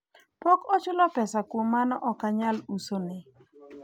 pok ochula pesa kuom mano okanyal usone